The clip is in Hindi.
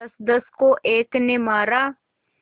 दसदस को एक ने मारा